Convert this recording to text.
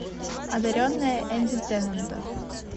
одаренная энди теннанта